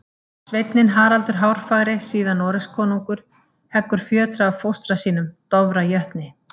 Sveinninn Haraldur hárfagri, síðar Noregskonungur, heggur fjötra af fóstra sínum, Dofra jötni.